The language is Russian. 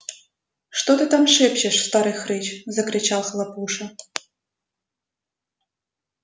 что ты там шепчешь старый хрыч закричал хлопуша